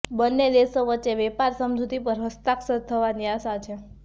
બન્ને દેશો વચ્ચે વેપાર સમજૂતી પર હસ્તાક્ષર થવાની આશા છે